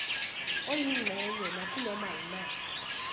oyingxenye nakunoma yimaphi